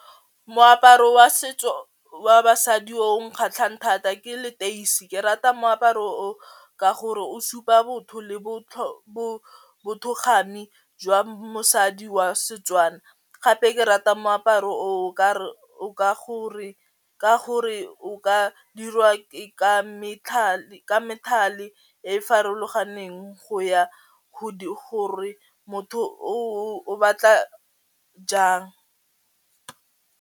Moaparo wa setso wa basadi o o kgatlhang thata ke leteisi ke rata moaparo o ka gore o supa botho le bothokgami jwa mosadi wa Setswana gape ke rata moaparo o o ka re o ka gore o ka dirwa ke ka metlhale ka methale e e farologaneng go ya go di gore motho o batla jang.